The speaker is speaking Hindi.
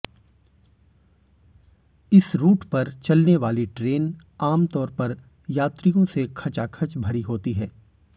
इस रुट पर चलनेवाली ट्रेन आम तौर पर यात्रियों से खचाखच भरी होती है